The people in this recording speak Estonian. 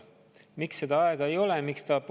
Miks seda aega ei ole?